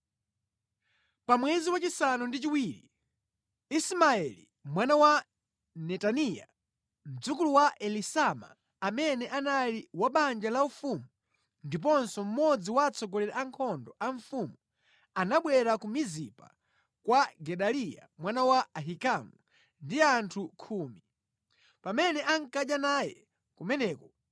Pa mwezi wachisanu ndi chiwiri Ismaeli mwana wa Netaniya, mdzukulu wa Elisama amene anali wa banja laufumu ndiponso mmodzi wa atsogoleri a ankhondo a mfumu, anabwera ku Mizipa kwa Gedaliya mwana wa Ahikamu ndi anthu khumi. Pamene ankadya naye kumeneko,